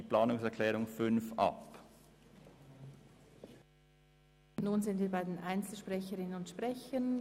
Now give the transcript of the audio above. Wir haben alle Fraktionen gehört und kommen zu den Einzelsprecherinnen und -sprechern.